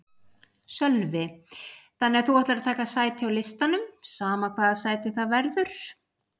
Sölvi: Þannig að þú ætlar að taka sæti á listanum sama hvaða sæti það verður?